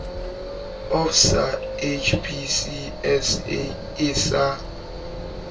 of sa hpcsa e sa